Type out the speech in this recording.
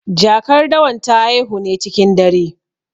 Jakar dawan ta haihu ne cikin dare.